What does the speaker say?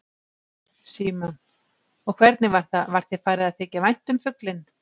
Símon: Og hvernig var það, var þér farið að þykja vænt um fuglinn?